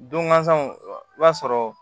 Don ŋa sanw i b'a sɔrɔ